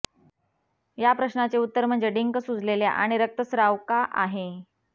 या प्रश्नाचे उत्तर म्हणजे डिंक सुजलेल्या आणि रक्तस्त्राव का आहे